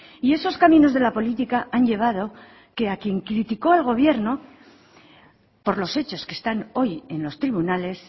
y esos caminos de la política han llevado que a quien criticó al gobierno por los hechos que están hoy en los tribunales